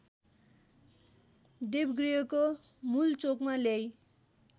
देवगृहको मूलचोकमा ल्याई